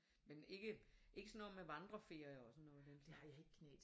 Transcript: Men ikke ikke sådan noget med vandreferier og sådan noget i den